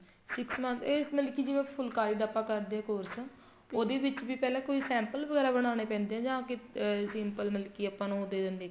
six month ਇਹ ਮਤਲਬ ਕੀ ਜਿਵੇਂ ਫੁਲਕਾਰੀ ਦਾ ਆਪਾਂ ਕਰਦੇ ਹਾਂ course ਉਹਦੇ ਵਿੱਚ ਵੀ ਪਹਿਲਾ ਕੋਈ sample ਵਗੇਰਾ ਬਣਾਉਣੇ ਪੈਂਦੇ ਨੇ ਜਾ simple ਮਤਲਬ ਕੀ ਆਪਾਂ ਨੂੰ ਦੇ ਦਿੰਦੇ